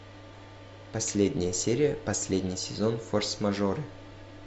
последняя серия последний сезон форс мажоры